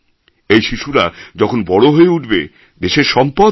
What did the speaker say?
এই শিশুরা যখন বড়ো হয়ে উঠবে দেশের সম্পদ হবে